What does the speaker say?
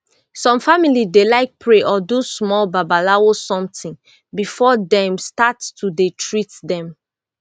some family dey like pray or do small babalawo somtin before dem start to dey treat dem